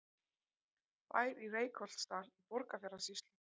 Bær í Reykholtsdal í Borgarfjarðarsýslu.